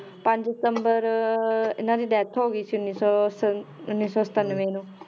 ਪੰਜ ਸਤੰਬਰ ਇਹਨਾਂ ਦੀ death ਹੋ ਗਈ ਤੇ ਉੱਨੀ ਸੌ ਸ~ ਉੱਨੀ ਸੌ ਸਤਾਨਵੇਂ ਨੂੰ